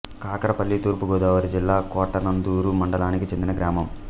కకరపల్లి తూర్పు గోదావరి జిల్లా కోటనందూరు మండలానికి చెందిన గ్రామం